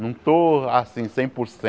Não estou assim cem por